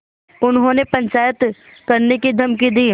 उन्होंने पंचायत करने की धमकी दी